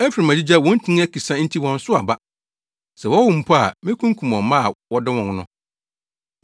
Efraim agyigya, wɔn ntin akisa, nti wɔnsow aba. Sɛ wɔwo mma mpo a, mekunkum wɔn mma a wɔdɔ wɔn no.”